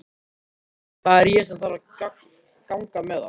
Það er ég sem þarf að ganga með það.